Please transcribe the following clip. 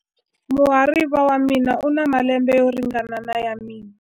Muhariva wa mina u na malembe yo ringana na ya mina.